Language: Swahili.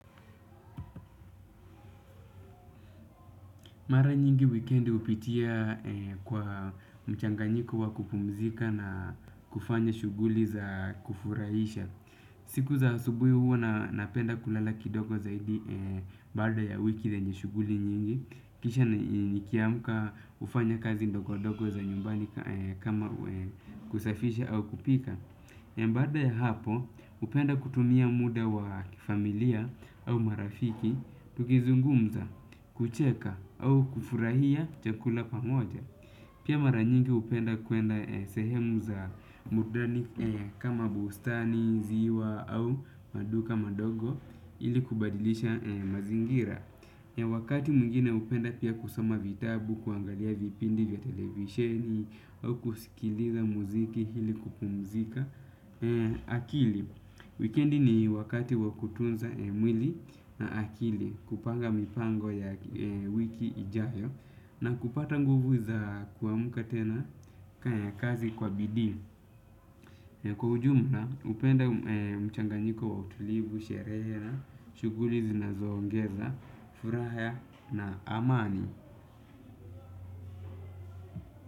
Mara nyingi wikendi hupitia kwa mchanganyiko wa kupumzika na kufanya shuguli za kufurahisha. Siku za asubuhi huwa napenda kulala kidogo zaidi baada ya wiki yenye shughuli nyingi. Kisha nikiamka hufanya kazi ndogo ndogo za nyumbani kama kusafisha au kupika. Baada ya hapo, hupenda kutumia muda wa familia au marafiki, tukizungumza, kucheka au kufurahia chakula pamoja. Pia mara nyingi hupenda kuenda sehemu za burudani kama bustani, ziwa au maduka madogo ili kubadilisha mazingira. Ya wakati mwingine hupenda pia kusoma vitabu, kuangalia vipindi vya televisheni au kusikiliza muziki ili kupumzika. Akili, wikendi ni wakati wa kutunza mwili na akili, kupanga mipango ya wiki ijayo na kupata nguvu za kuamka tena kaya kazi kwa bidii. Kwa ujumla, hupenda mchanganyiko wa utulivu, sherehe na, shughuli zinazo ongeza, furaha na amani.